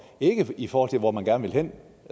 ikke i forhold til hvor man gerne vil hen